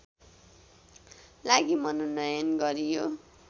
लागि मनोनयन गरियो